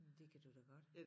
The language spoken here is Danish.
Men det kan du da godt